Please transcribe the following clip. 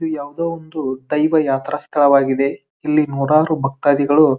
ಇದು ಯಾವದೋ ಒಂದು ದೈವ ಯಾತ್ರಾ ಸ್ಥಳವಾಗಿದೆ ಇಲ್ಲಿ ನೂರಾರು ಭಕ್ತತಾದಿಗಳು --